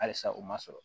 Halisa u ma sɔrɔ